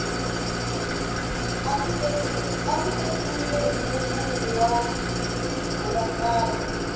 a ndzi tekiwile hi mulungu wa riburantani